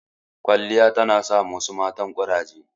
Kwaliya ta na sa ma wasu matan ƙuraje